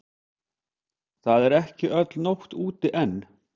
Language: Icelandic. Það er ekki öll nótt úti enn.